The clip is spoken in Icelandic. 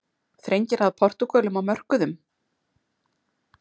Þrengir að Portúgölum á mörkuðum